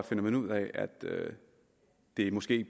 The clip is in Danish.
man ud af at det måske